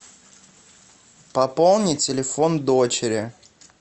пополни телефон дочери